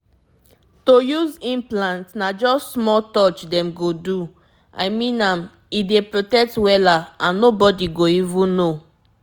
if you use implant e fit last reach three years — so no need to dey remember anything every day again.